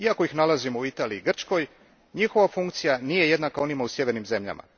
Iako ih nalazimo u Italiji i Grčkoj, njihova funkcija nije jednaka onima u sjevernim zemljama.